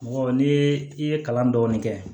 Mɔgɔ n'i ye i ye kalan dɔɔnin kɛ